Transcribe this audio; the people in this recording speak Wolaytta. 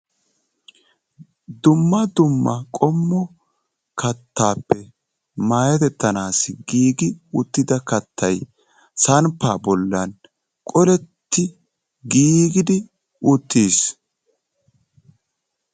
Dumma dumma kattaappe meetettanaassi giigi uttida Kattayi samppaa bollan qoletti giigidi uttis.